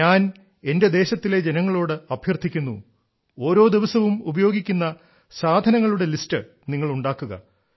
ഞാൻ എന്റെ ദേശത്തിലെ ജനങ്ങളോട് അഭ്യർത്ഥിക്കുന്നു ഓരോ ദിവസവും ഉപയോഗിക്കുന്ന സാധനങ്ങളുടെ ലിസ്റ്റ് നിങ്ങൾ ഉണ്ടാക്കുക